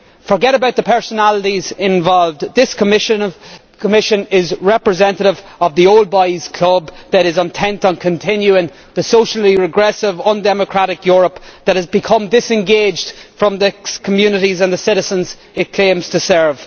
Forget about the personalities involved, this Commission is representative of the old boys' club that is intent on continuing the socially regressive, undemocratic Europe that has become disengaged from the communities and the citizens it claims to serve.